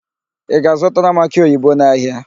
Ị ga-azụtara m akị oyibo n'ahịa?